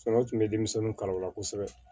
Fana tun bɛ denmisɛnninw kala o la kosɛbɛ